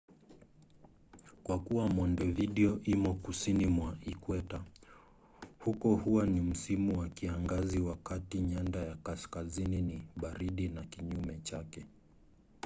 kwa kuwa montevideo imo kusini mwa ikweta huko huwa ni msimu wa kiangazi wakati nyanda ya kaskazini ni baridi na kinyume chake